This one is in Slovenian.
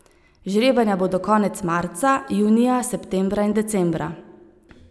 Žrebanja bodo konec marca, junija, septembra in decembra.